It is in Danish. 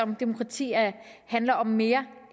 demokrati handler om mere